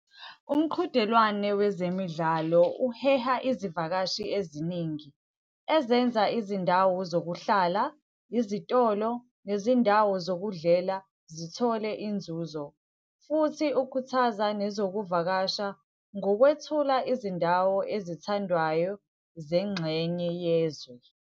Umqhudelwane wezemidlalo uheha izivakashi eziningi, ezenza izindawo zokuhlala, izitolo, nezindawo zokudlela zithole inzuzo. Futhi ukhukhuthaza nezokuvakasha ngokwethula izindawo ezithandwayo zengxenye yezwe.